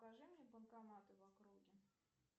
покажи мне банкоматы в округе